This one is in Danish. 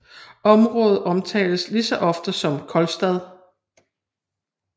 Området omtales lige så ofte som Kolstad